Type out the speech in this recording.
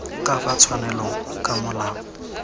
ka fa tshwanelong ka molao